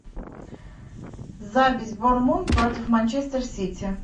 запись борнмут против манчестер сити